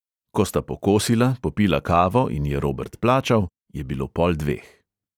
Ko sta pokosila, popila kavo in je robert plačal, je bilo pol dveh.